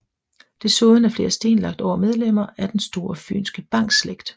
Desuden er flere sten lagt over medlemmer af den store fynske Bangslægt